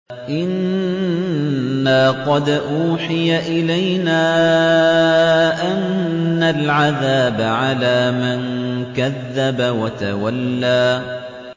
إِنَّا قَدْ أُوحِيَ إِلَيْنَا أَنَّ الْعَذَابَ عَلَىٰ مَن كَذَّبَ وَتَوَلَّىٰ